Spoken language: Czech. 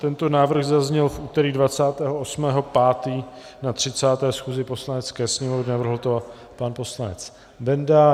Tento návrh zazněl v úterý 28. 5. na 30. schůzi Poslanecké sněmovny, navrhl to pan poslanec Benda.